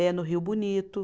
É, no Rio Bonito.